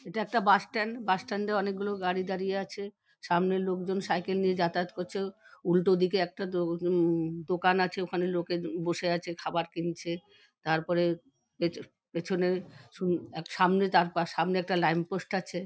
ইটা একটা bus stand | bus stand -এ অনেক গুলো গাড়ি দাঁড়িয়ে আছে | সামনে লোকজন সাইকেল নিয়ে যাতায়াত করছে | উল্টো দিকে একটা দো দোকান আছে | ওখানে লোকে বসে আছে খাবার কিনছে | তারপরে পেচ পেছনে সামনে একটা ল্যাম্প পোস্ট আছে |